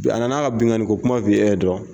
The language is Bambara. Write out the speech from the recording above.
Bi a nana k'a binkani ko kuma fi' e dɔn